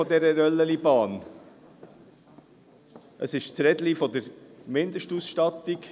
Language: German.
Es handelt sich um das Rädchen der Mindestausstattung.